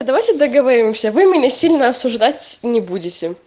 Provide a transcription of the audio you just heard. давайте договоримся вы меня сильно осуждать не будете